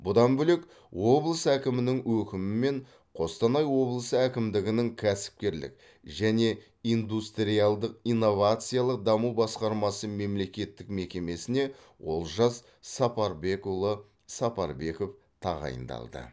бұдан бөлек облыс әкімінің өкімімен қостанай облысы әкімдігінің кәсіпкерлік және индустриалдық инновациялық даму басқармасы мемлекеттік мекемесіне олжас сапарбекұлы сапарбеков тағайындалды